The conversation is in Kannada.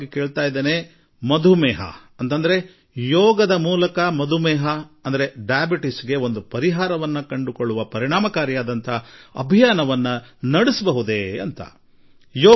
ನಾವು ಈ ವರ್ಷವಿಡೀ ಮಧುಮೇಹ ಅಂದರೆ ಸಕ್ಕರೆ ಕಾಯಿಲೆ ವಿರುದ್ಧ ಯೋಗದ ಮೂಲಕ ಒಂದು ಯಶಸ್ವಿ ಅಭಿಯಾನ ನಡೆಸಲು ನಮ್ಮಿಂದ ಸಾಧ್ಯವೇ ಎಂದು ವಿವಿಧ ಪ್ರಕಾರಗಳಲ್ಲಿ ಯೋಗ ನಡೆಸುತ್ತಿರುವವರಿಗೆ ವಿವಿಧ ಪ್ರಕಾರಗಳ ಯೋಗ ಸಂಸ್ಥೆಗಳಿಗೆ ವಿಭಿನ್ನ ಯೋಗ ಗುರುಗಳಿಗೆ ಎಲ್ಲರಿಗೂ ನಾನು ಈ ಮನವಿ ಮಾಡಿರುವೆ